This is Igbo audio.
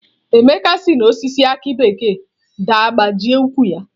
Emeka si n'osisi aki bekee daa gbajie ụkwụ ya